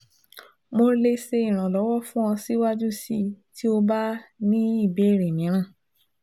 Mo le ṣe iranlọwọ fun ọ siwaju sii ti o ba ni ibeere miiran